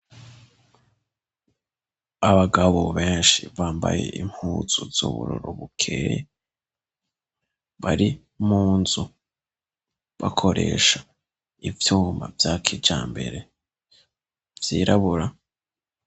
Abagabo benshi bambaye impuzu z'ubururu bukeyi, bari munzu bakoresha ivyuma vya kijambere vyirabura.